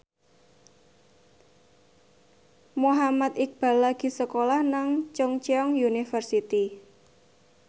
Muhammad Iqbal lagi sekolah nang Chungceong University